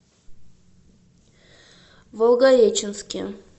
волгореченске